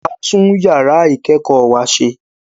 A tún yàrá ìkẹ́kọ̀ọ́ wa ṣe